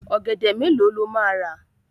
Ọ̀gẹ̀dẹ̀ mélòó ló máa rà?